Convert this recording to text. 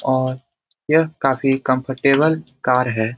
और यह काफी कंफर्टेबल कार है।